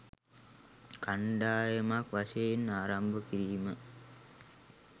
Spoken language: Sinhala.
කණ්ඩායමක් වශයෙන් ආරම්භ කිරීම